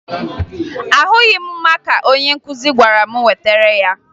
Ahụghị m maka onye nkụzi gwara m wetara ya